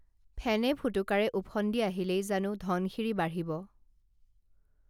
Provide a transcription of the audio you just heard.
ফেনে ফুটুকাৰে উফন্দি আহিলেই জানো ধনশিৰী বাঢ়িব